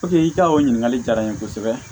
i ka o ɲininkali jala n ye kosɛbɛ